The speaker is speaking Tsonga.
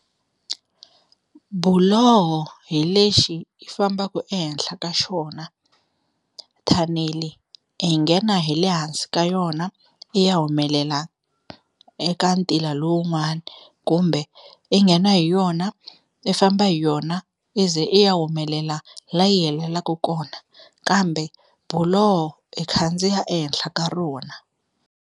Buloho hi lexi i fambaka ehenhla ka xona thanele hi nghena hi le hansi ka yona i ya humelela eka ntila lowun'wani kumbe i nghena hi yona i famba hi yona i ze i ya humelela la yi heleleke kona kambe biloho i khandziya ehenhla ka rona.